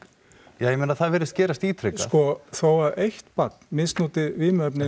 ja ég meina það virðist gerast ítrekað sko þó að eitt barn misnoti vímuefni